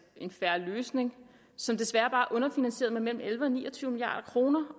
en fair løsning som desværre bare er underfinansieret med mellem elleve og ni og tyve milliard kroner